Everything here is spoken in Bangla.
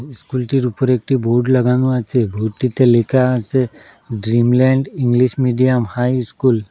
ইস্কুলটির উপরে একটি বোর্ড লাগানো আছে বোর্ডটিতে লেখা আসে Dreamland English medium high school.